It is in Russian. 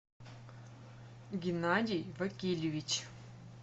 геннадий вакильевич